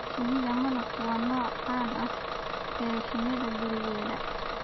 Shinnida malabku waa nooca caanka ah ee shinnida gurigeeda.